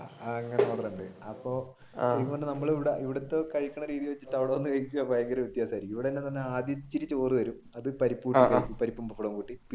ആഹ് അങ്ങനെ ഓർഡർ ഉണ്ട് അപ്പൊ നമ്മൾ ഇവിടത്തെ കഴിക്കുന്ന രീതി വെച്ചിട്ട് അവിടെ വന്നു കഴിക്കുന്നത് ഭയങ്കര വ്യത്യാസമായിരിക്കും. ഇവിടെയെന്താണ് ആദ്യം ഇത്തിരി ചോറ് തരും അതും പരിപ്പും പപ്പടവും